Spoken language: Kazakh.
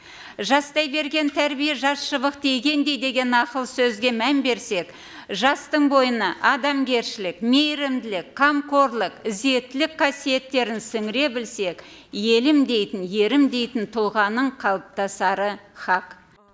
жастай берген тәрбие жас шыбықты игендей деген нақыл сөзге мән берсек жастың бойына адамгершілік мейірімділік қамқорлық ізеттілік қасиеттерін сіңіре білсек елім дейтін ерім дейтін тұлғаның қалыптасары хақ